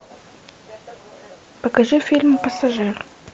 покажи фильм пассажир